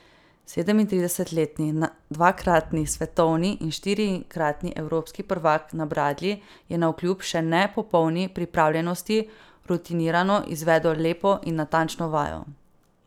Sedemintridesetletni dvakratni svetovni in štirikratni evropski prvak na bradlji je navkljub še ne popolni pripravljenosti rutinirano izvedel lepo in natančno vajo.